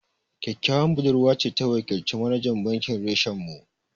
Ƙyaƙƙyawan budurwa ce ta wakilci manajan bankin reshen mu